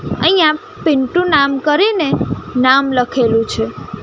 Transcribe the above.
અહીંયા પીન્ટુ નામ કરીને નામ લખેલુ છે.